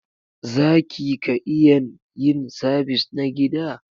Zaki ka iyan yin sabis na gida?.